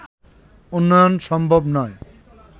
উন্নয়ন সম্ভব নয়